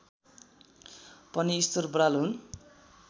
पनि ईश्वर बराल हुन्